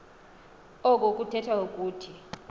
oku kuthetha ukuthi